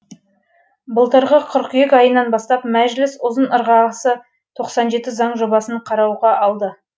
былтырғы қыркүйек айынан бастап мәжіліс ұзын ырғасы заң жобасын қарауға алды